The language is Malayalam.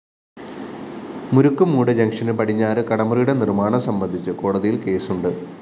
മുരുക്കുംമൂട് ജംഗ്ഷന് പടിഞ്ഞാറ് കടമുറിയുടെ നിര്‍മാണം സംബന്ധിച്ച് കോടതിയില്‍ കേസുണ്ട്